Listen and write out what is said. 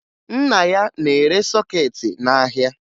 Nna ya na-ere sọkeetị n'ahịa